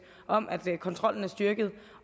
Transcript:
om at kontrollen er styrket